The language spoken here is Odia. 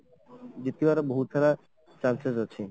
ଜିତିବାର ବହୁତ ସାରା chances ଅଛି